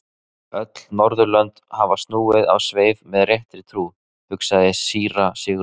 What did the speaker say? Öll Norðurlönd hafa snúist á sveif með réttri trú, hugsaði síra Sigurður.